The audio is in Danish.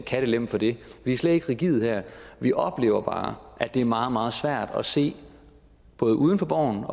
kattelem for det vi er slet ikke rigide her vi oplever bare at det er meget meget svært at se både uden for borgen